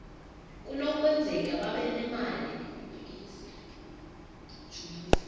kunokwenzeka babe nemali